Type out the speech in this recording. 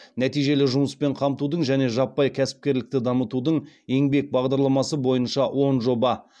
нәтижелі жұмыспен қамтудың және жаппай кәсіпкерлікті дамытудың еңбек бағдарламасы бойынша он жоба